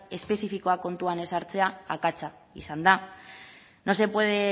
espezifikoa kontuan ez hartzea akatsa izan da no se puede